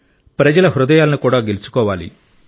ప్రజల హృదయాలను కూడా గెలుచుకోవాలి